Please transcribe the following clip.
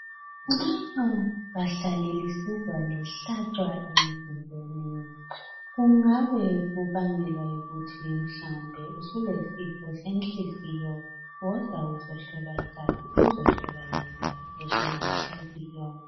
Nxa lingahlala lisizwa lihlatshwa inhliziyo. Kungabe kubangelwa yikuthi kumbe usulesifo senhliziyo. Woza uzohlolwa igazi. Uhlolwe leblood pressure, lenhliziyo.